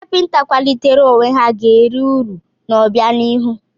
Ndị kapịnta kwalitere onwe ha ga eri uru n'obianihu.